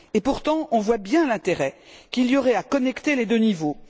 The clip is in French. Et pourtant, on voit bien l'intérêt qu'il y aurait à connecter les deux niveaux.